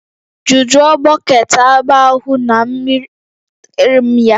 Jujuo bọket agba ahụ na mmiri butere m ya